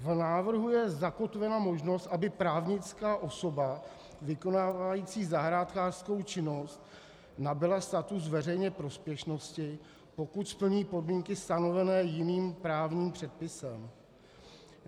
V návrhu je zakotvena možnost, aby právnická osoba vykonávající zahrádkářskou činnost nabyla status veřejné prospěšnosti, pokud splní podmínky stanovené jiným právním předpisem.